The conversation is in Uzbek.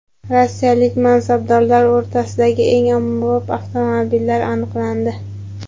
Rossiyalik mansabdorlar o‘rtasidagi eng ommabop avtomobillar aniqlandi.